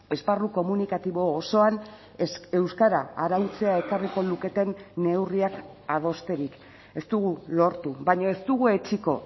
esparru komunikatibo osoan euskara arautzea ekarriko luketen neurriak adosterik ez dugu lortu baina ez dugu etsiko